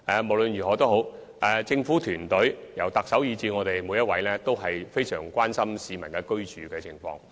無論如何，政府團隊內由特首以至我們每一位官員，均相當關心市民的居住情況。